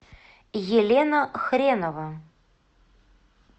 елена хренова